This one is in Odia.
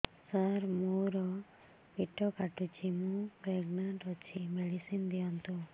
ସାର ମୋର ପେଟ କାଟୁଚି ମୁ ପ୍ରେଗନାଂଟ ଅଛି ମେଡିସିନ ଦିଅନ୍ତୁ